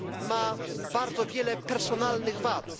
ma bardzo wiele personalnych wad.